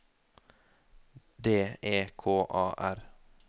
D E K A R